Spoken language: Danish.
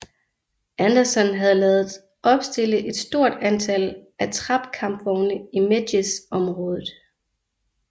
Anderson havde ladet opstille et stort antal attrap kampvogne i Medjez området